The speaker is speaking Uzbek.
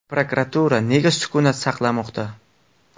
Prokuratura nega sukut saqlamoqda?